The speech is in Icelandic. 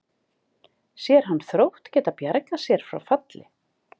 Sér hann Þrótt geta bjargað sér frá falli?